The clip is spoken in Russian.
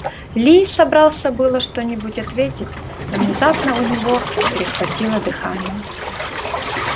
ли собрался было что нибудь ответить но внезапно у него перехватило дыхание